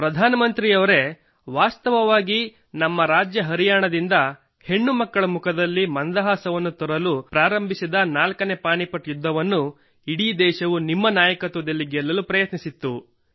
ಪ್ರಧಾನಮಂತ್ರಿಯವರೆ ವಾಸ್ತವವಾಗಿ ನಮ್ಮ ರಾಜ್ಯ ಹರಿಯಾಣದಿಂದ ಹೆಣ್ಣುಮಕ್ಕಳ ಮುಖದಲ್ಲಿ ಮಂದಹಾಸವನ್ನು ತರಲು ಪ್ರಾರಂಭಿಸಿದ ನಾಲ್ಕನೇ ಪಾಣಿಪತ್ ಯುದ್ಧವನ್ನು ಇಡೀ ದೇಶವು ನಿಮ್ಮ ನಾಯಕತ್ವದಲ್ಲಿ ಗೆಲ್ಲಲು ಪ್ರಯತ್ನಿಸಿತ್ತು